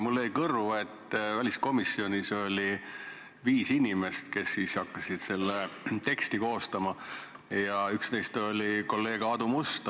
Mulle jäi kõrvu, et väliskomisjonis oli viis inimest, kes hakkasid seda teksti koostama, ja üks neist oli kolleeg Aadu Must.